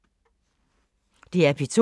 DR P2